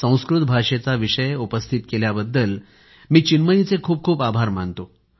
संस्कृत भाषेचा विषय उपस्थित केल्याबद्दल मी चिन्मयीचे खूप खूप आभार मानतो